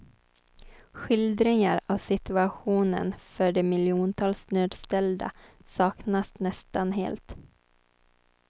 Skildringar av situationen för de miljontals nödställda saknas nästan helt.